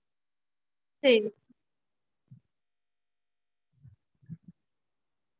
melas னா everyday எல்லாரும் வீட்ல சாப்பிடறதுதா mam as usual லாதா இருகும். அது